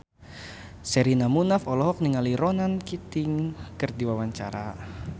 Sherina Munaf olohok ningali Ronan Keating keur diwawancara